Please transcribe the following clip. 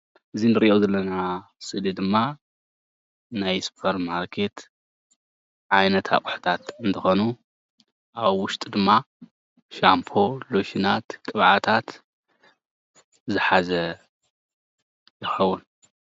እዚ እንሪኦ ዘለና ስእሊ ድማ ናይ ስፖርማርኬት ዓይነት ኣቁሑታት እንትኮኑ ኣብ ውሽጡ ድማ ሻምፖ፣ ሎሹናት ቅብኣታት ዝሓዘ ይከውን፡፡